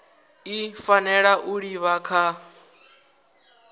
i fanela u livha kha